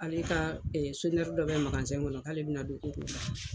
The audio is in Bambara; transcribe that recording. Ale ka ɛɛ dɔ bɛ kɔnɔ la k'ale be na don ko k'olu ta.